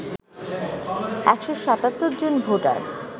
১৭৭ জন ভোটার